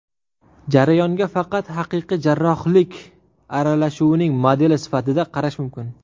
Jarayonga faqat haqiqiy jarrohlik aralashuvining modeli sifatida qarash mumkin.